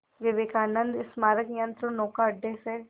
विवेकानंद स्मारक यंत्रनौका अड्डे से